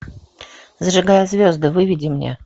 зажигая звезды выведи мне